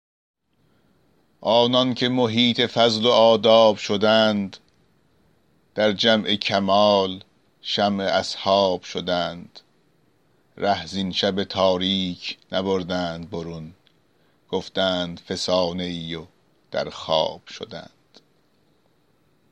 آنان که محیط فضل و آداب شدند در جمع کمال شمع اصحاب شدند ره زین شب تاریک نبردند برون گفتند فسانه ای و در خواب شدند